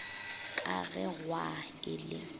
ka ge gwaa e le